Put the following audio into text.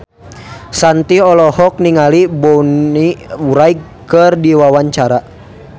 Shanti olohok ningali Bonnie Wright keur diwawancara